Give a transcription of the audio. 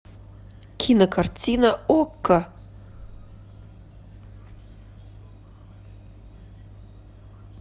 кинокартина окко